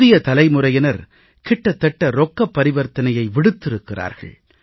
புதிய தலைமுறையினர் கிட்டத்தட்ட ரொக்கப் பரிவர்த்தனையை விடுத்திருக்கிறார்கள்